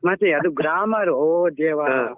ಮತ್ತೆ ಅದು grammar ಓ ದೇವಾ.